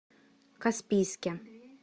каспийске